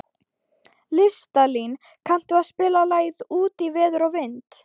Listalín, kanntu að spila lagið „Út í veður og vind“?